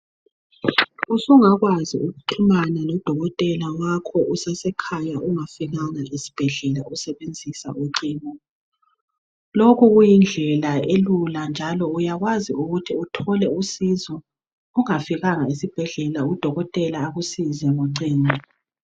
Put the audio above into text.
Usungakwazi unxumane lodokotela wakho useseskhaya ungafikanga esibhedlela usesbenzisa ucingo lokhu kuyindlela elula njalo uyakwazi ukuthi uthole usizo ungafikanga esibhedlela udokotela akusize ngocingo.